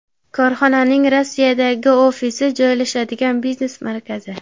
Korxonaning Rossiyadagi ofisi joylashadigan biznes markazi.